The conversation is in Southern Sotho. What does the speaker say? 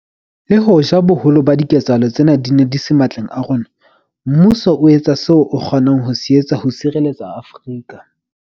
Le hoja boholo ba diketsahalo tsena di se matleng a rona, mmuso o etsa seo o kgonang ho se etsa ho sireletsa Afrika.